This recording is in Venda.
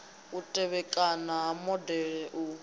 u tevhekana ha modele u